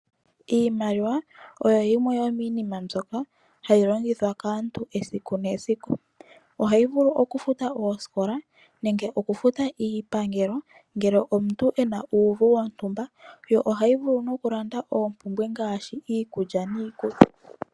Iimaliwa oyo yimwe yomiinima mbyoka hayi longithwa kaantu esiku nesiku. Ohayi vulu okufuta oosikola nenge okufuta iipangelo ngele omuntu e na uuvu wontumba. Ohayi vulu okulanda oompumbwe ngaashi iikulya niikutu.